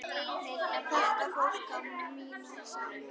Þetta fólk á mína samúð.